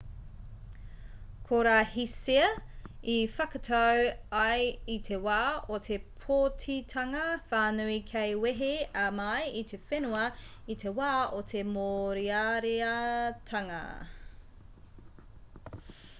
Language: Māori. ko rā hsieh i whakatau ai i te wā o te pōtitanga whānui kei wehe a ma i te whenua i te wā o te mōreareatanga